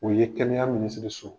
O ye kɛnɛya minisiri so